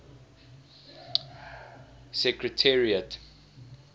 secretariat